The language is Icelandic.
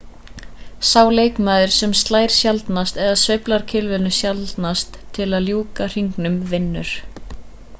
sá leikmaður sem slær sjaldnast eða sveiflar kylfunni sjaldnast til að ljúka hringnum vinnur